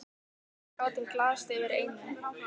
En við gátum glaðst yfir einu.